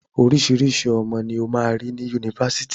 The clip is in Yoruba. Oríṣiriṣí ọmọ ni o máa rí ni Yunifásitì.